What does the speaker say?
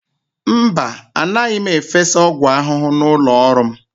Mba, anaghị m efesa ọgwụ ahụhụ n'ụlọ ọrụ m.